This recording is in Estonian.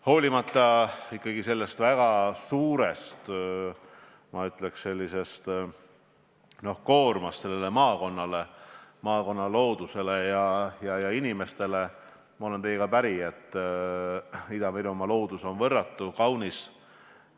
Hoolimata sellest väga suurest, ma ütleks, koormast sellele maakonnale, maakonna loodusele ja inimestele, olen ma teiega päri, et Ida-Virumaa loodus on võrratu, kaunis.